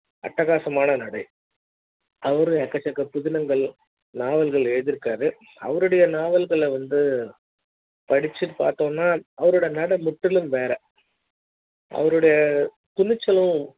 அட்டகாச மான நடை அவரு எக்கச்சக்க புதினங்கள் நாவல்கள் எழுதிருக்காரு அவருடைய நாவல்கள் வந்து படிச்சு பாத்த அவரோட நட முற்றிலும் வேற அவருடைய துணிச்சாலும்